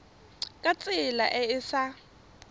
ka tsela e e sa